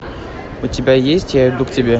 у тебя есть я иду к тебе